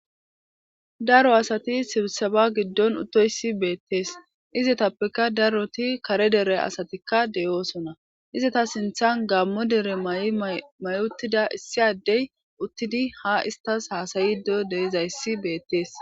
daro asati sibseba giddon uttoyssi beettees izi tappeka daroti kare dere asatikka deyoosona iza ta sinthan gammo dere may7i mayuttida issiaddey uttidi ha istas haasayido deizayssi beettees